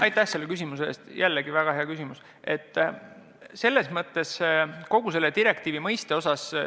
Aitäh selle küsimuse eest, jällegi väga hea küsimus!